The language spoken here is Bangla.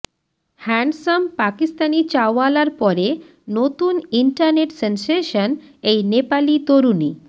হ্যান্ডসাম পাকিস্তানি চাওয়ালার পরে নতুন ইন্টারনেট সেনসেশন এই নেপালি তরুণী